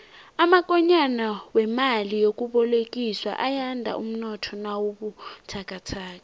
amakonyana wemali yokubolekiswa ayanda umnotho nawubuthakathaka